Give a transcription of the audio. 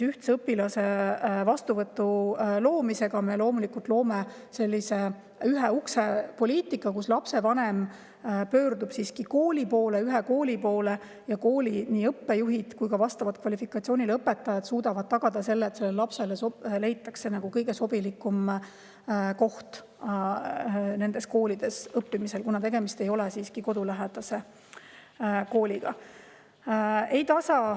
Ühtse õpilaste vastuvõtu loomisega me sellise ühe ukse poliitika: lapsevanem pöördub ühe kooli poole ning kooli õppejuhid ja vastava kvalifikatsiooniga õpetajad suudavad tagada selle, et lapsele leitakse kõige sobilikum koht koolis õppimiseks, kuna tegemist ei ole siiski kodulähedase kooliga.